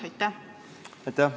Aitäh!